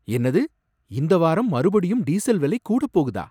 என்னது, இந்த வாரம் மறுபடியும் டீசல் விலை கூடப் போகுதா?